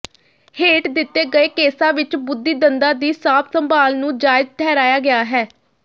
ਹੇਠ ਦਿੱਤੇ ਗਏ ਕੇਸਾਂ ਵਿੱਚ ਬੁੱਧੀ ਦੰਦਾਂ ਦੀ ਸਾਂਭ ਸੰਭਾਲ ਨੂੰ ਜਾਇਜ਼ ਠਹਿਰਾਇਆ ਗਿਆ ਹੈ